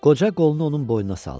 Qoca qolunu onun boynuna saldı.